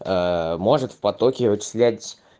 может в потоке вычислять